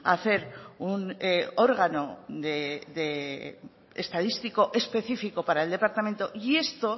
a hacer un órgano de estadístico específico para el departamento y esto